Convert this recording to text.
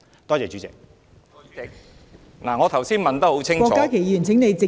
代理主席，我剛才問得很清楚......